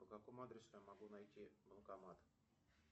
по какому адресу я могу найти банкомат